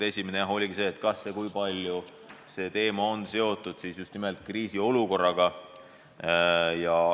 Esimene oli see, kui palju see teema on seotud just nimelt kriisiolukorraga.